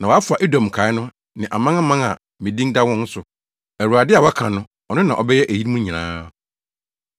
na wɔafa Edom nkae no ne amanaman a me din da wɔn so.” Awurade a waka no, ɔno na ɔbɛyɛ eyinom nyinaa.